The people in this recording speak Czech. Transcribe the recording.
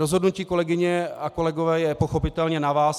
Rozhodnutí, kolegyně a kolegové, je pochopitelně na vás.